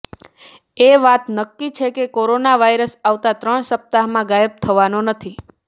એ વાત નક્કી છે કે કોરોના વાયરસ આવતા ત્રણ સપ્તાહમાં ગાયબ થવાનો નથી